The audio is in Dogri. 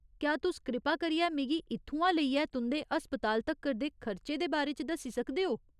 क्या तुस कृपा करियै मिगी इत्थुआं लेइयै तुं'दे अस्पताल तक्कर दे खर्चे दे बारे च दस्सी सकदे ओ ?